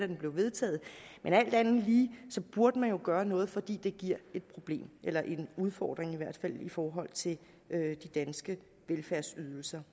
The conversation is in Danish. den blev vedtaget men alt andet lige burde man jo gøre noget fordi det giver et problem eller i en udfordring i forhold til de danske velfærdsydelser